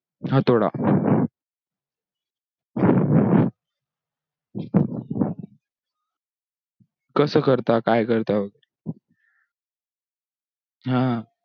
हातोड कसं करता काय करता हा